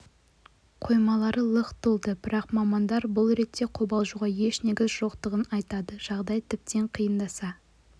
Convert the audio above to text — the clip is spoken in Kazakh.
қоймалары лық толды бірақ мамандар бұл ретте қобалжуға еш негіз жоқтығын айтады жағдай тіптен қиындаса